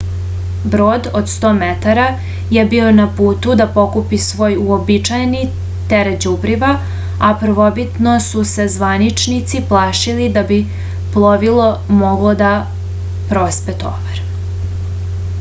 brod od 100 metara je bio na putu da pokupi svoj uobičajeni teret đubriva a prvobitno su se zvaničnici plašili da bi plovilo moglo da prospe tovar